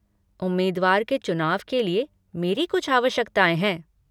उम्मीदवार के चुनाव के लिए मेरी कुछ आवश्यकताएँ है।